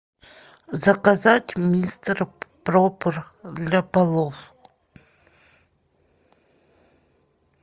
заказать мистер пропер для полов